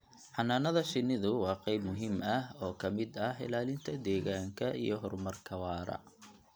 Xannaanada shinnidu waa qayb muhiim ah oo ka mid ah ilaalinta deegaanka iyo horumarka waara.